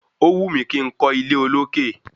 Ówù mí kí n kọ́ ilé olókè